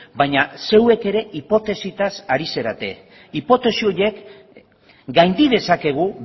baina zeuek ere hipotesitaz ari zarete hipotesi horiek gaindi dezakegu